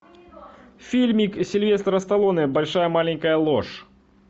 фильмик сильвестра сталлоне большая маленькая ложь